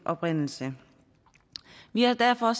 oprindelse vi har derfor